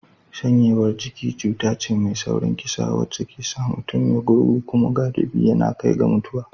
Shanyewar jiki cuta ce mai saurin kisa wacce ke sa mutum ya gurgu kuma galibi yana kai ga mutuwa.